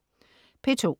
P2: